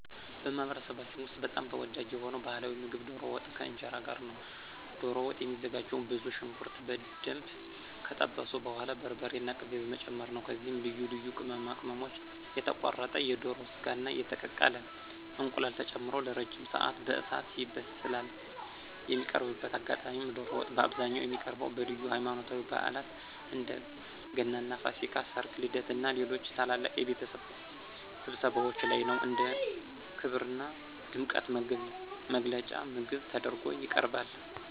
በማኅበረሰባችን ውስጥ በጣም ተወዳጅ የሆነው ባሕላዊ ምግብ ዶሮ ወጥ ከእንጀራ ጋር ነው። ዶሮ ወጥ የሚዘጋጀውም ብዙ ሽንኩርት በደንብ ከጠበሱ በኋላ በርበሬና ቅቤ በመጨመር ነው። ከዚያም ልዩ ልዩ ቅመማ ቅመሞች፣ የተቆረጠ የዶሮ ሥጋና የተቀቀለ እንቁላል ተጨምሮ ለረጅም ሰዓት በእሳት ይበስላል። የሚቀርብበት አጋጣሚም ዶሮ ወጥ በአብዛኛው የሚቀርበው በልዩ ሃይማኖታዊ በዓላት (እንደ ገናና ፋሲካ)፣ ሠርግ፣ ልደትና ሌሎች ታላላቅ የቤተሰብ ስብሰባዎች ላይ ነው። እንደ ክብርና ድምቀት መግለጫ ምግብ ተደርጎ ይቀርባል።